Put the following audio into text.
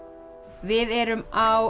við erum á